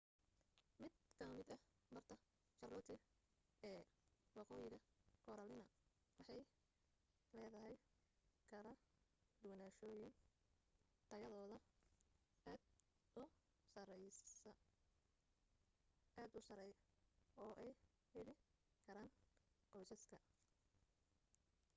mid ka mid ah barta charlotte ee waqoyiga carolina waxay leedahay kala doorashooyin tayadooda aad u sarey oo ay heli karaan qoysaska